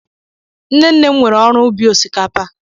Nne nne m nwere oru ubi osikapa.